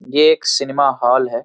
ये एक cinema hall है।